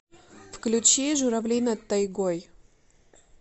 включи журавли над тайгой